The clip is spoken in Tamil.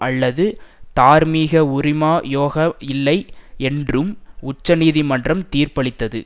அல்லது தார்மீக உரிமா யோக இல்லை என்றும் உச்சநீதிமன்றம் தீர்ப்பளித்தது